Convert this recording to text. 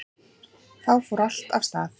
Þá fór allt af stað